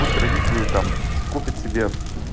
пусть родители там купят себе